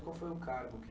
qual foi o cargo que